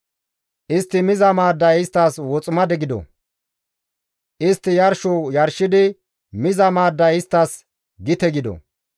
Istti miza maadday isttas woximade gido. Istti yarsho yarshidi miza maadday isttas gite gido.